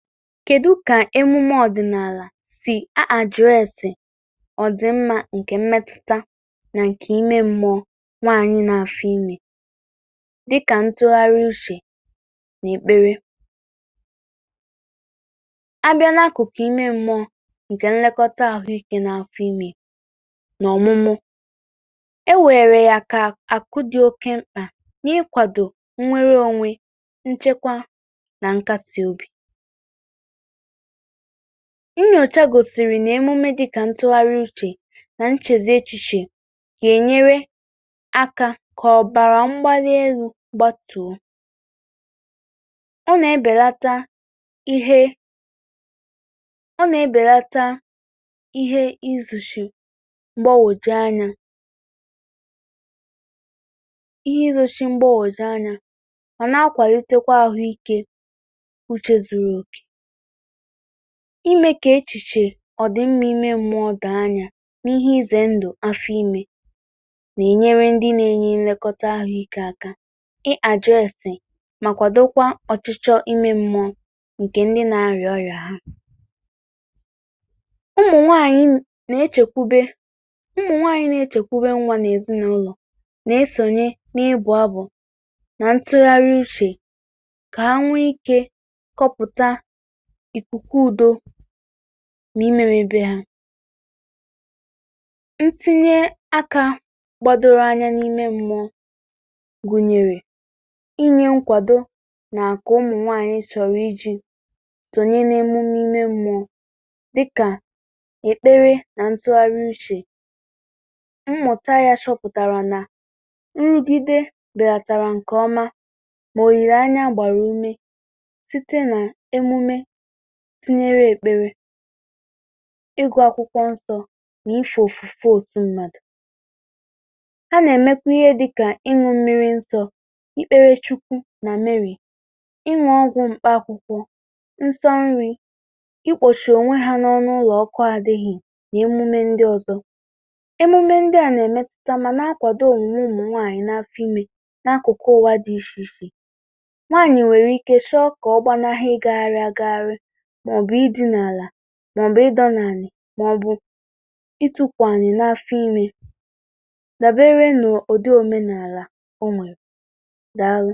Kedu ka emume ọdịnala si a adressị ọdịmma nke mmetụta na nke ime mmụọ nwanyị n’afọ ime dịka ntụgharị uche na ekpere? A bịa n’akụkụ ime mmụọ nke nlekọta ahụ ike n’afọ ime na ọmụmụ, e weere ya ka akụ dị oke mkpa n’ịkwado nwere onwe nchekwa na nkasị obi. Nnyocha gosịrị na emume dịka ntụgharị uche na nchezi echiche ga-enyere aka ka ọbara mgbali elu gbatuo. Ọ na-ebelata ihe ọ na-ebelata ihe izuchi mgbagwoju anya ihe izochi mgbagwoju anya ma na-akwalitekwa ahụ ike uche zuru oke. Ime ka echiche ọdị mma ime mmụọ doo anya n’ihe ize ndụ afọ ime na-enyere ndị na-enye nlekọta ahụ ike aka ịaddressị ma kwadokwa ọchịchọ ime mmụọ nke ndị na-arịa ọrịa ha. Ụmụ nwanyị na-echekwube ụmụ nwaanyị na-echekwube nwa na-ezinaụlọ na-esonye n’ịbụ abụ na ntụgharị uche ka ha nwee ike kọpụta ikuku udo ma ime mebe ha. Ntinye aka gbadoro anya n’ime mmụọ gụnyere; inye nkwado na nke ụmụ nwaanyị chọrọ iji̇ tụnye n’emume ime mmụọ dịka ekpere na ntụgharị uche. Mmụta ya chọpụtara na nrụgide belatara nke ọma ma olileanya gbara ume tinyere ekpere, ịgụ akwụkwọ nsọ na ife ofufe otu mmadụ. A na-emekwa ihe dịka ịṅụ mmiri nsọ, ikpere chukwu na Mary, ịṅụ ọgwụ mkpa akwụkwọ, nsọ nri, ikpọchi onwe ha n’ọnụ ụlọ ọkụ adịghị, na emume ndị ọzọ. Emume ndị a na-emetuta ma na-akwado omume ụmụ nwanyị n’afọ ime n’akụkụ ụwa dị iche iche. Nwanyị nwere ike chọọ ka ọ gbanahụ ịgagharị agagharị ma ọ bụ idina ala ma ọ bụ ịdọ n’anị ma ọ bụ itukwu ana n’afọ ime, daberede n’ụdị omenala o nwere. Daalụ